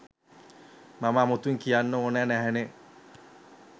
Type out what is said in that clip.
මම අමුතුවෙන් කියන්න ඕන නැහැනේ.